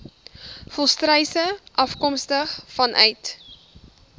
volstruise afkomstig vanuit